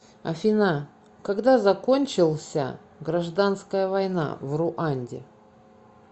афина когда закончился гражданская война в руанде